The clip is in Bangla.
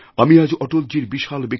আমি আজ অটলজীর বিশাল